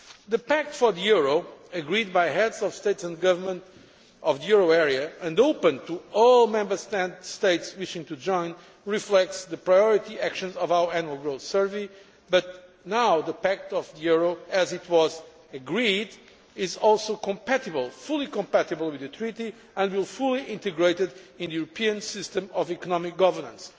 The Pact for the euro, agreed by Heads of State and Government of the euro area and open to all Member States wishing to join, reflects the priority actions of our Annual Growth Survey, but now the Pact for the euro, as it was agreed, is also fully compatible with the Treaty and will be fully integrated in the European system of economic governance.